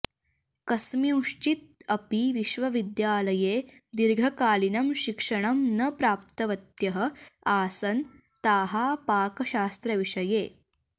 कस्मिंश्चित् अपि विश्वविद्यालये दीर्घकालीनं शिक्षणं न प्राप्तवत्यः आसन् ताः पाकशास्त्रविषये